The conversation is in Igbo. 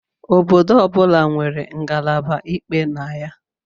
Obodo ọ bụla nwere ngalaba ikpe na ya